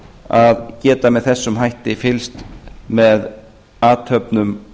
að geta með þessum hætti fylgst með athöfnum